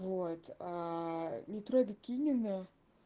вот э метро бикиневна